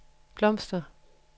blomster